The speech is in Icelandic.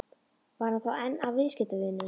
Var hann þá einn af viðskiptavinunum?